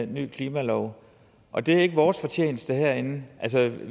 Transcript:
ny klimalov og det er ikke vores fortjeneste herinde